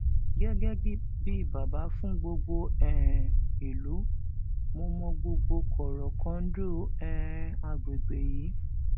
gẹgẹ bíi bàbá fún gbogbo um ìlú mo mọ gbogbo kọrọkọǹdù um àgbègbè yìí